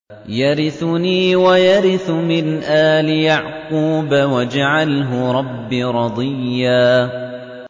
يَرِثُنِي وَيَرِثُ مِنْ آلِ يَعْقُوبَ ۖ وَاجْعَلْهُ رَبِّ رَضِيًّا